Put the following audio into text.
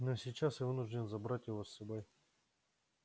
но сейчас я вынужден забрать его с собой